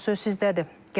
Buyurun söz sizdədir.